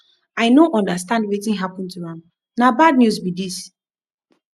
i no understand wetin happen to am na bad news be this